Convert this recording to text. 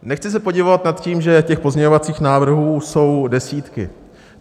Nechci se podivovat nad tím, že těch pozměňovacích návrhů jsou desítky.